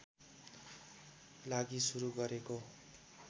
लागि सुरू गरेको